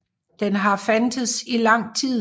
Den har fandtes i lang tid